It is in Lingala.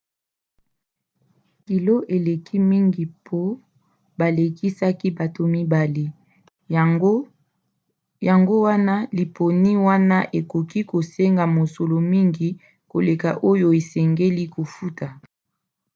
kilo eleki mingi mpo balekisaki bato 2 yango wana liponi wana ekoki kosenga mosolo mingi koleka oyo osengeli kofuta